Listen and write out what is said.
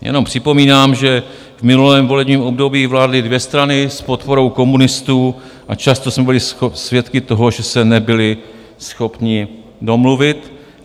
Jenom připomínám, že v minulém volebním období vládly dvě strany s podporou komunistů a často jsme byli svědky toho, že se nebyly schopny domluvit.